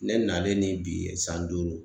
Ne nalen ni bi san duuru.